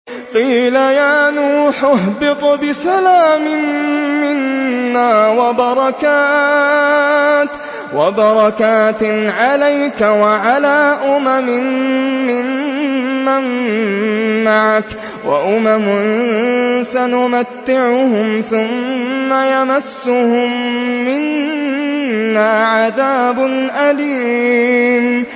قِيلَ يَا نُوحُ اهْبِطْ بِسَلَامٍ مِّنَّا وَبَرَكَاتٍ عَلَيْكَ وَعَلَىٰ أُمَمٍ مِّمَّن مَّعَكَ ۚ وَأُمَمٌ سَنُمَتِّعُهُمْ ثُمَّ يَمَسُّهُم مِّنَّا عَذَابٌ أَلِيمٌ